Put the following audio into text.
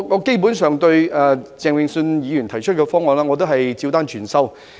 基本上，我對鄭泳舜議員提出的方案，都是"照單全收"。